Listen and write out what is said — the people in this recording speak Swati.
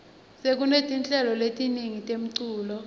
sekunetinhlelo letiningi temculo